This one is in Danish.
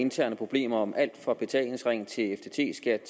interne problemer om alt fra betalingsring til ftt skat